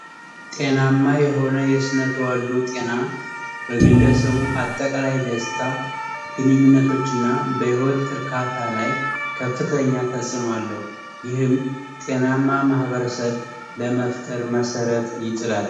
ጤናማ የሆነ የስነ ተዋልዶ ጤና በግለሰቡ አጠቃላይ ደስታ ግንኙነቶች እና በህይወት እርካታ ላይ ከፍተኛ አስተዋጾ አለው። ይህም ጤናማ ማበረሰብ ለመፍጠር መሠረት ይጥላል።